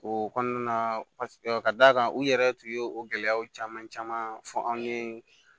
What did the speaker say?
O kɔnɔna na ka d'a kan u yɛrɛ tun ye o gɛlɛyaw caman caman fɔ anw ye